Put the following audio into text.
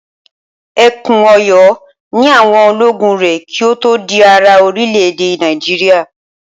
Ẹkùn Ọ̀yọ́ ni àwọn ológun rẹ̀ kí ó tó di ara orílẹ̀-èdè Nàìjíríà.